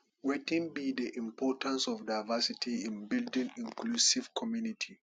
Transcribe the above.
wetin be di importance of diversity in building inclusive community